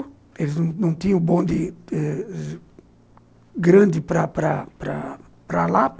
Eles não tinham um bonde grande para para para lá.